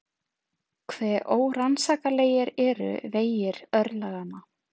Hve órannsakanlegir eru vegir örlaganna!